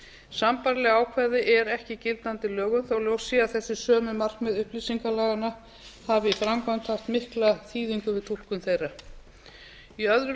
sambærileg ákvæði eru ekki í gildandi lögum þó ljóst sé að þessi sömu markmið upplýsingalaganna hafi í framkvæmd haft mikla þýðingu við túlkun þeirra í öðru